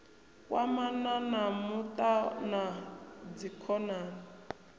kwamana na muṱa na dzikhonani